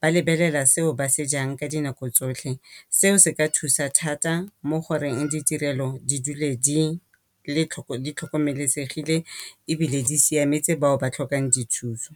Ba lebelela seo ba se jang ka dinako tsotlhe seo se ka thusa thata mo goreng ditirelo di dule di tlhokomelesegile ebile di siametse bao ba tlhokang dithuso.